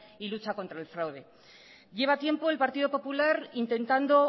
y lucha contra el fraude lleva tiempo el partido popular intentando